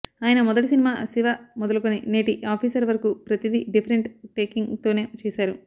ఆయన మొదటి సినిమా శివ మొదలుకుని నేటి ఆఫీసర్ వరకు ప్రతిది డిఫెరెంట్ టేకింగ్ తోనే చేశారు